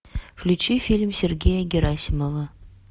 включи фильм сергея герасимова